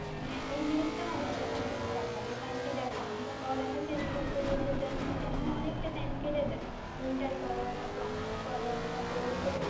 হ্যাঁ এই জিনিসটাও আমার কাছে অনেক খারাপ লাগে কারণ কি দেখো আমরা পড়ালেখা শেষ করতে করতে যেমনে তেমনি অনেকটা Time কেটে যায় ইন্টার কর তারপর Honours করো তারপর হচ্ছে